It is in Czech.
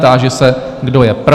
Táži se, kdo je pro?